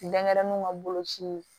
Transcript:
Denɲɛrɛninw ka boloci